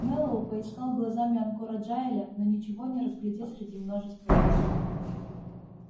мэллоу поискал глазами анкора джаэля но ничего не разглядел среди множества лиц